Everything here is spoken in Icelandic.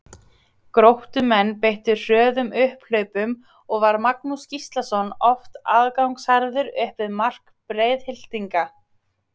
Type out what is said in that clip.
Gróttumenn beittu hröðum upphlaupum og var Magnús Gíslason oft aðgangsharður upp við mark Breiðhyltinga.